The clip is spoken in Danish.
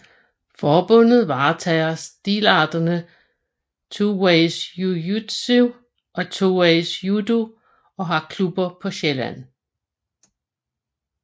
Forbundet varetager stilarterne 2ways Jujutsu og 2ways Judo og har klubber på Sjælland